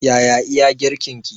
Yaya iya girkin ki?